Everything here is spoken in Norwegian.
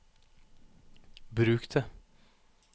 bruk det